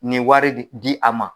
Ni wari be di a ma.